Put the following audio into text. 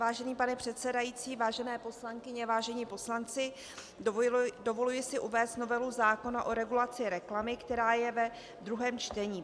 Vážený pane předsedající, vážené poslankyně, vážení poslanci, dovoluji si uvést novelu zákona o regulaci reklamy, která je ve druhém čtení.